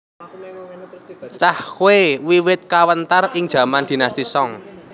Cahkwe wiwit kawentar ing jaman Dinasti Song